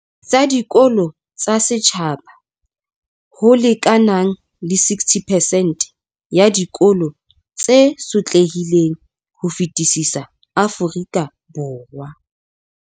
Tsa dikolo tsa setjhaba, ho lekanang le 60 percent ya dikolo tse sotlehileng ho fetisisa Afrika Borwa.